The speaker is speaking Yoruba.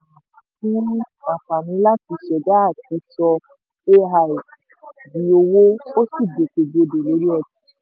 singularitynet um fún àǹfààní láti ṣẹ̀dá àti sọ ai di owó ó sì gbòkègbodò lórí ọjà.